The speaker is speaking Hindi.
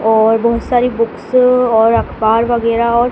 और बहोत सारी बुक्स और अखबार वगैरह और--